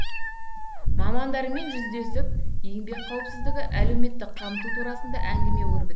мамандармен жүздесіп еңбек қауіпсіздігі әлеуметтік қамту турасында әңгіме өрбітті